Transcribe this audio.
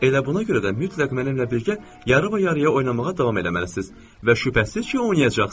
Elə buna görə də mütləq mənimlə birgə yarı və yarıya oynamağa davam eləməlisiz və şübhəsiz ki oynayacaqsız.